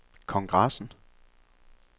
kongressen